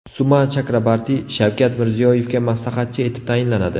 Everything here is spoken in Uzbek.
Suma Chakrabarti Shavkat Mirziyoyevga maslahatchi etib tayinlanadi.